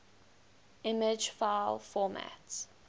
image file format